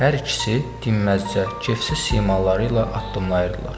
Hər ikisi dinməzcə kefsiz simaları ilə addımlayırdılar.